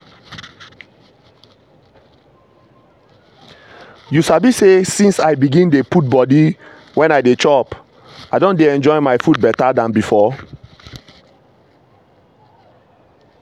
you sabi say since i begin dey put body when i dey chop i don dey enjoy my food better than before.